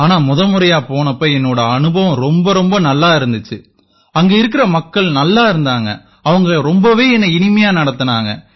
ஆனா முத முறையா போனப்ப என்னோட அனுபவம் ரொம்ப ரொம்ப நல்லா இருந்திச்சு அங்க இருக்கற மக்கள் நல்லாயிருந்தாங்க அவங்க ரொம்பவே இனிமையா என்னை நடத்தினாங்க